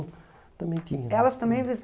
Também tinha. Elas também